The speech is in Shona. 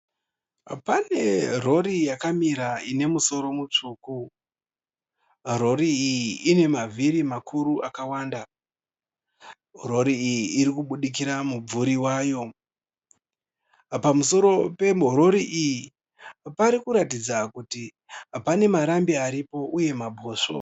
Pane Rori yakamira ine musoro mutsvuku . Rori iyi inemavhiri makuru akawanda . Rori iyi ririkubudikira mubvuri wayo. Pamusoro peRori iyi parikuratidza kuti pane marambi aripo uye mabhosvo.